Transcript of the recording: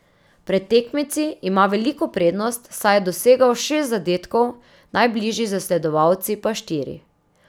Pred tekmeci ima veliko prednost, saj je dosegel šest zadetkov, najbližji zasledovalci pa štiri.